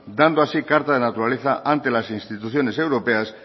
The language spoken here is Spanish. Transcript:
dando así carta de la naturaleza ante las instituciones europeas